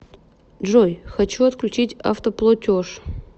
джой хочу отключить автоплотеж